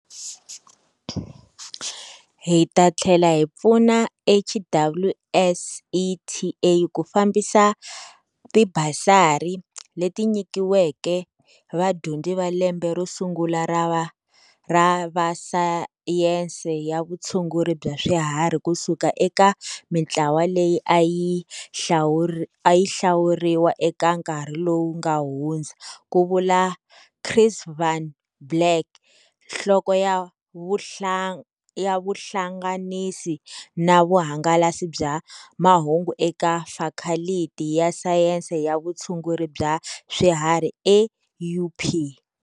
Hi ta tlhela hi pfuna HWSETA ku fambisa tibasari, leti nyikiweke vadyondzi va lembe ro sungu la va sayense ya vutshunguri bya swiharhi ku suka eka mitlawa leyi a yi hlawuriwa eka nkarhi lowu nga hundza, Ku vula Chris van Blerk, Nhloko ya Vuhlanganisa na Vuhangalasi bya Mahungu eka Fakhaliti ya Sayense ya vutshunguri bya Swiharhi eUP.